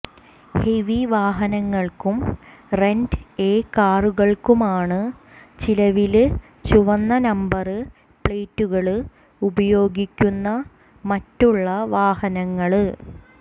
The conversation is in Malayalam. ഹെവി വാഹനങ്ങള്ക്കും റെന്റ് എ കാറുകള്ക്കുമാണ് നിലവില് ചുവന്ന നമ്പര് പ്ലേറ്റുകള് ഉപയോഗിക്കുന്ന മറ്റുള്ള വാഹനങ്ങള്